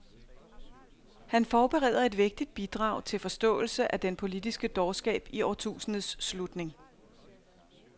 Han forbereder et vægtigt bidrag til forståelse af den politiske dårskab i årtusindets slutning.